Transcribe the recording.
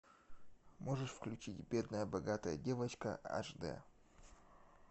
можешь включить бедная богатая девочка аш дэ